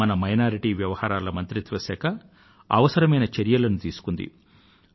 మన అల్పసంఖ్యాక వర్గాల వ్యవహారాల మంత్రిత్వ శాఖ అవసరమైన చర్యలను తీసుకుంది